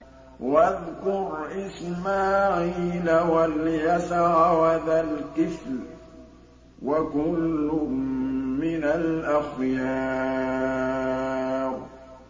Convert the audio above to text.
وَاذْكُرْ إِسْمَاعِيلَ وَالْيَسَعَ وَذَا الْكِفْلِ ۖ وَكُلٌّ مِّنَ الْأَخْيَارِ